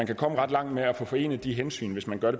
kan komme ret langt med at forene de hensyn hvis man gør